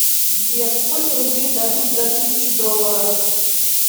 сбер сколько рублей дадут за тысячу долларов